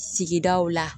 Sigidaw la